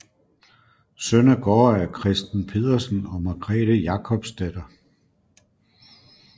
Søn af gårdejer Christen Pedersen og Margrethe Jacobsdatter